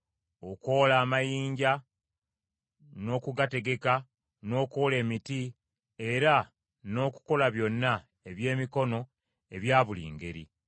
okwola amayinja n’okugategeka, n’okwola emiti, era n’okukola byonna ebyemikono ebya buli ngeri.